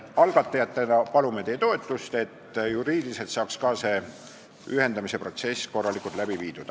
Algatajatena palume teie toetust, et juriidiliselt saaks see ühendamisprotsess korralikult läbi viidud.